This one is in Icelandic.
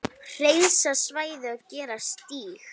Hreinsa svæðið og gera stíg.